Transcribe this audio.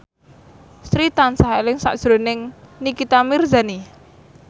Sri tansah eling sakjroning Nikita Mirzani